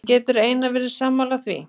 En getur Einar verið sammála því?